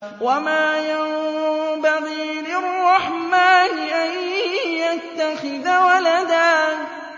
وَمَا يَنبَغِي لِلرَّحْمَٰنِ أَن يَتَّخِذَ وَلَدًا